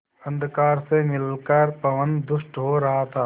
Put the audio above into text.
अंधकार से मिलकर पवन दुष्ट हो रहा था